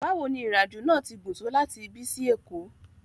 Bawo ni irin ajo naa ti gun to lati ibi si Eko?